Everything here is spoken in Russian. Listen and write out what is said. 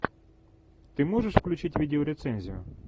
ты можешь включить видеорецензию